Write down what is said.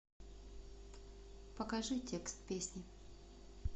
покажи текст песни